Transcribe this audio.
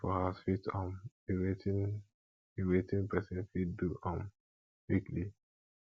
shopping for house fit um be wetin be wetin person fit do um weekly